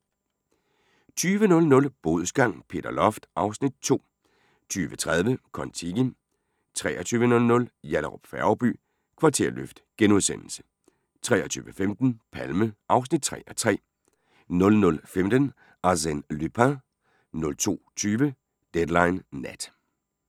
20:00: Bodsgang - Peter Loft (Afs. 2) 20:30: Kon-Tiki 23:00: Yallahrup Færgeby: Kvarterløft * 23:15: Palme (3:3) 00:15: Arsène Lupin 02:20: Deadline Nat